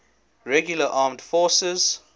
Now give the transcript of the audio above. regular armed forces